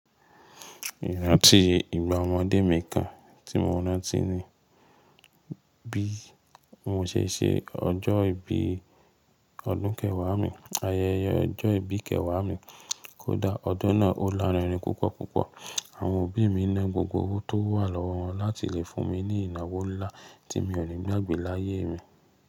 Ìrántí ìgbà ọmọdé mi kan tí mo rántí ni bí mo ṣe ṣe ọjọ́ ìbí ọdún kẹwàá mi. Ayẹyẹ ọjọ́ ìbí kẹwàá mi kódà ọdún náà ó lárinrin púpọ̀ púpọ̀. Àwọn òbí mi na gbogbo owó tó wà lọ́wọ́ wọn láti lè fún mi ní ìnáwó ńlá tí mi ò ni gbà gbe láyé mi.